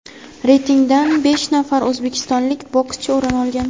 reytingdan besh nafar o‘zbekistonlik bokschi o‘rin olgan.